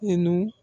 Nu